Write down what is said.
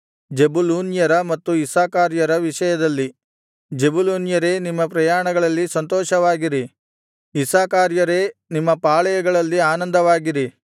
ಜೆಬುಲೂನ್ಯರ ಮತ್ತು ಇಸ್ಸಾಕಾರ್ಯರ ವಿಷಯದಲ್ಲಿ ಜೆಬುಲೂನ್ಯರೇ ನಿಮ್ಮ ಪ್ರಯಾಣಗಳಲ್ಲಿ ಸಂತೋಷವಾಗಿರಿ ಇಸ್ಸಾಕಾರ್ಯರೇ ನಿಮ್ಮ ಪಾಳೆಯಗಳಲ್ಲಿ ಆನಂದವಾಗಿರಿ